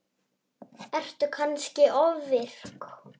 Ertu kannski ofvirk?